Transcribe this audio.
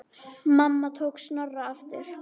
Mamma tók Snorra aftur.